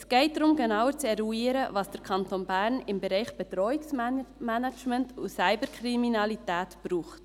Es geht darum, genauer zu eruieren, was der Kanton Bern im Bereich Bedrohungsmanagement und Cyberkriminalität genau braucht.